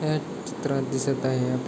हया चित्रात दिसत आहे आप--